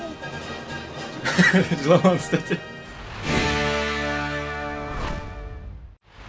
жыламаңыз тәте